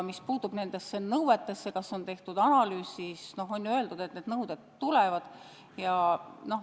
Mis puutub sellesse, kas on tehtud analüüs arvatavate nõuete kohta, siis on ju öeldud, et need nõuded tulevad.